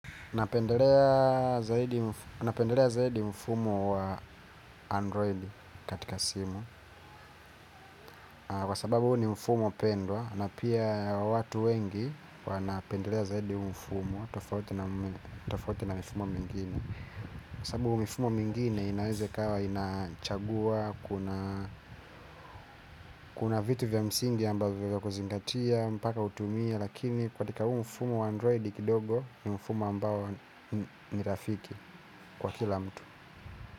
Napendelea zaidi mfumo wa Android katika simu kwa sababu huu ni mfumo pendwa na pia watu wengi wanapendelea zaidi mfumo. Tofauti na mifumo mingine kwa sababu mifumo mingine inaweze ikawa inachagua. Kuna vitu vya msingi ambavyo vya kuzingatia mpaka utumie lakini katika huu mfumo wa Android kidogo ni mfumo ambao nirafiki kwa kila mtu.